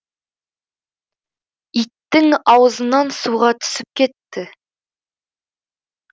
иттің аузынан суға түсіп кетті